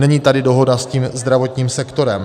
Není tady dohoda s tím zdravotním sektorem.